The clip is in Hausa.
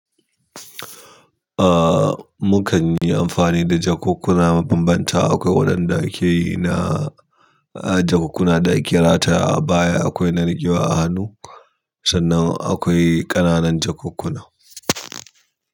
Ah, mukan yi amfani da jakukkuna mabambanta. Akwai waɗanda akeyi na, ah jakukkuna da ake ratayawa a baya, akwai na riƙewa a hannu, sannan akwai ƙananan jakukkuna.